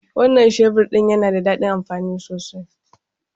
Wannan shebur din yana da dadin amfani sosai.